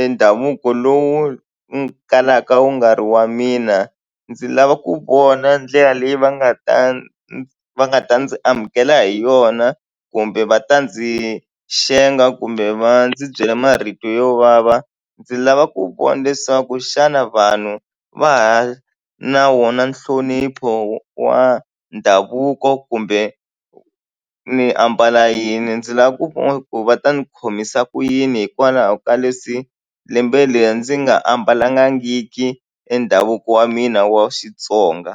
e ndhavuko lowu kalaka wu nga ri wa mina. Ndzi lava ku vona ndlela leyi va nga ta va nga ta ndzi amukela hi yona kumbe va ta ndzi xenga kumbe va ndzi byela marito yo vava ndzi lava ku vona leswaku xana vanhu va ha na wona nhlonipho wa ndhavuko kumbe ni ambala yini ndzi lava ku vona ku va ta ni khomisa ku yini hikwalaho ka leswi lembe leri ndzi nga ambalangiki e ndhavuko wa mina wa Xitsonga.